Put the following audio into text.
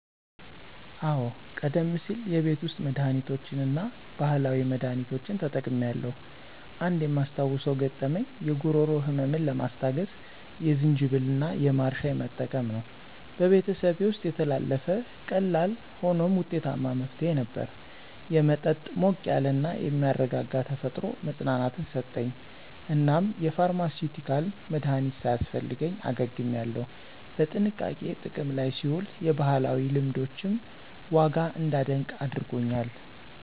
አዎ, ቀደም ሲል የቤት ውስጥ መድሃኒቶችን እና ባህላዊ መድሃኒቶችን ተጠቅሜያለሁ. አንድ የማስታውሰው ገጠመኝ የጉሮሮ ህመምን ለማስታገስ የዝንጅብል እና የማር ሻይ መጠቀም ነው። በቤተሰቤ ውስጥ የተላለፈ ቀላል ሆኖም ውጤታማ መፍትሄ ነበር። የመጠጥ ሞቅ ያለ እና የሚያረጋጋ ተፈጥሮ መፅናናትን ሰጠኝ፣ እናም የፋርማሲዩቲካል መድሀኒት ሳያስፈልገኝ አገግሜያለሁ። በጥንቃቄ ጥቅም ላይ ሲውል የባህላዊ ልምዶችን ዋጋ እንዳደንቅ አድርጎኛል.